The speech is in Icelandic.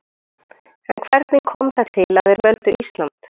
En hvernig kom það til að þeir völdu Ísland?